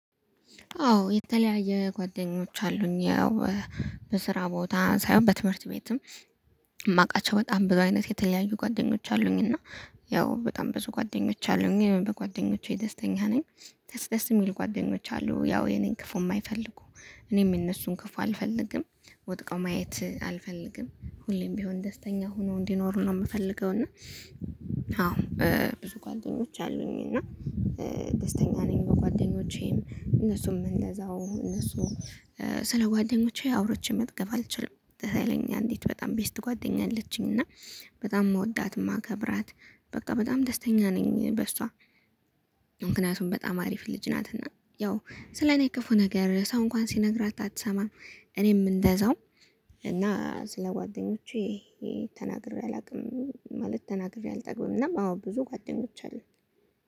አዎ የተለያየ ጓደኞች አሉኝ ያው በስራ ቦታ ሳይሆን በትምህርት ቤትም የማውቃቸው በጣም ብዙ አይነት የተለያዩ ጓደኞች አሉኝ። እና ያው በጣም ብዙ ጓደኞች አሉኝ በጓደኞቼ ደስተኛ ነኝ። ደስ ደስ የሚል ጓደኞች አሉኝ ያው የኔን ክፉ የማይፈልጉ። እኔም የነሱን ክፉ አልፈልግም ወድቀው ማየት አልፈልግም ሁሌም ቢሆን ደስተኛ ሆነው እንዲኖሩ ነው የምፈልገው። እና አዎ ብዙ ጓደኞች አሉኝ እና ደስተኛ ነኝ። በጓደኞቼም እነሱም እንደዛው እነሱም ስለ ጓደኞቼ አውርቸ መጥገብ አልችልም። ሀይለኛ አንዲት በጣም ቤስት ጓደኛ አለችኝ። እና በጣም ምወዳት ማከብራት በቃ በጣም ደስተኛ ነኝ በሷ። ምክንያቱም በጣም አሪፍ ልጅ ናትና ያው ስለኔ ክፉ ነገር ሰው እንኳን ሲነግራት አትሰማም። እኔም እንደዛው። እና ስለ ጓደኞቼ ተናግሬ አላውቅም። ማለት ተናግሬ አልጠግብም እና አዎ ብዙ ጓደኞች አሉ።